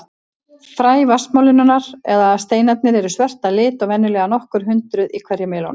Fræ vatnsmelónunnar, eða steinarnir, eru svört að lit og venjulega nokkur hundruð í hverri melónu.